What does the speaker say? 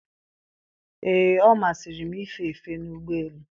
ee, ọ masịrị m ife efe n'ụgbọelu